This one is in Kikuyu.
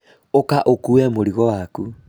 ũka ũkue mũrigo waku